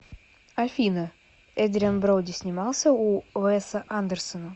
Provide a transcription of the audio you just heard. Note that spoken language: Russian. афина эдриан броуди снимался у уэса андерсона